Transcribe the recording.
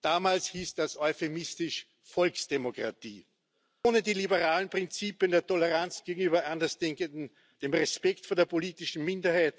Damals hieß das euphemistisch Volksdemokratie. Ohne die liberalen Prinzipien der Toleranz gegenüber Andersdenkenden, des Respekts vor der politischen Minderheit,